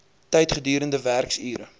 tyd gedurende werksure